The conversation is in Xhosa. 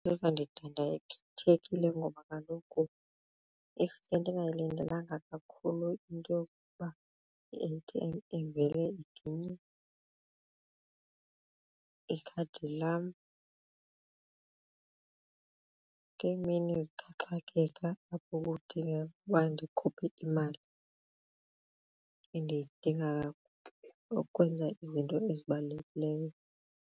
ndidandathekile ngoba kaloku if bendingayilindelanga kakhulu into yokuba i-A_T_M ivele iginye ikhadi lam ngeemini zikaxakeka apho kudingeka uba ndikhuphe imali endiyidinga ukwenza izinto ezibalulekileyo.